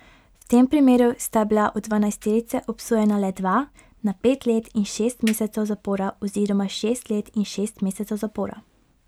V tem primeru sta bila od dvanajsterice obsojena le dva, na pet let in šest mesecev zapora oziroma šest let in šest mesecev zapora.